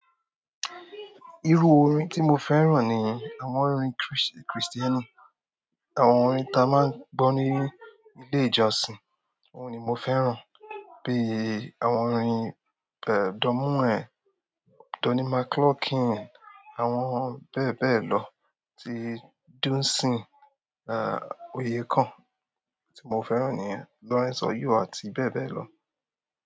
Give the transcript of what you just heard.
Irú orin tí mo fẹ́ràn ni àwọn orin Chris Christiani. Àwọn orin ta máa ń gbọ́ ní ilé ìjọsìn, òun ni mo fẹ́ràn bí àwọn orin Don Moen, Donny McClurkin àwọn bebe lo ti Dunsin, aah oyè kan tí mo fẹ́ràn ni Lawrence Oyuwa àti bẹ́ẹ̀ bẹ́ẹ̀ lọ.